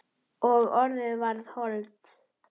Og orðið varð hold.